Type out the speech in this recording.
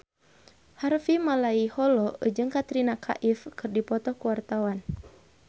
Harvey Malaiholo jeung Katrina Kaif keur dipoto ku wartawan